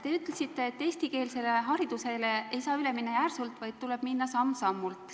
Te ütlesite, et eestikeelsele haridusele ei saa üle minna järsult, vaid tuleb minna samm-sammult.